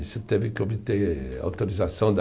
Isso teve que obter autorização da